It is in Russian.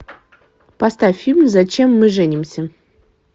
поставь фильм зачем мы женимся